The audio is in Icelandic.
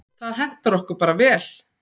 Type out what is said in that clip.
Það hentar okkur bara vel.